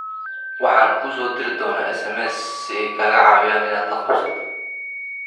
Waxaan kuu soo diri doonaa SMS si ay kaaga caawiyaan inaad la qabsato."